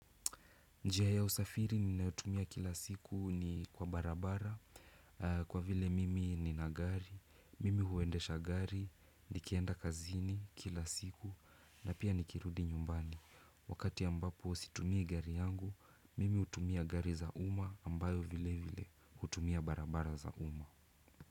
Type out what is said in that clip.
Njia ya usafiri ninayotumia kila siku ni kwa barabara kwa vile mimi nina gari, mimi huendesha gari, nikienda kazini kila siku na pia nikirudi nyumbani. Wakati ambapo situmii gari yangu, mimi utumia gari za uma ambayo vile vile utumia barabara za uma.